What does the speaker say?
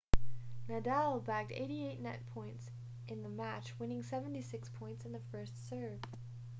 nadal bagged 88% net points in the match winning 76 points in the first serve